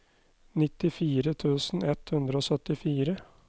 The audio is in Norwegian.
nittifire tusen ett hundre og syttifire